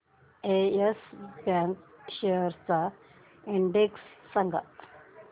yes Bank shares चा index सांगा